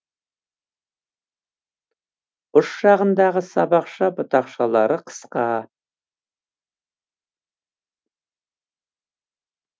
ұш жағындағы сабақша бұтақшалары қысқа